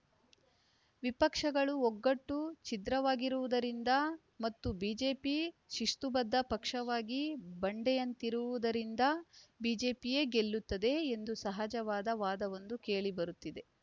ವಿಪಕ್ಷಗಳ ಒಗ್ಗಟ್ಟು ಛಿದ್ರವಾಗಿರುವುದರಿಂದ ಮತ್ತು ಬಿಜೆಪಿ ಶಿಸ್ತುಬದ್ಧ ಪಕ್ಷವಾಗಿ ಬಂಡೆಯಂತಿರುವುದರಿಂದ ಬಿಜೆಪಿಯೇ ಗೆಲ್ಲುತ್ತದೆ ಎಂದು ಸಹಜವಾದ ವಾದವೊಂದು ಕೇಳಿಬರುತ್ತಿದೆ